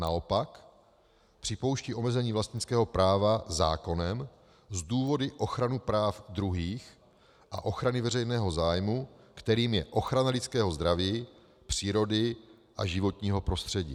Naopak připouští omezení vlastnického práva zákonem z důvodu ochrany práv druhých a ochrany veřejného zájmu, kterým je ochrana lidského zdraví, přírody a životního prostředí.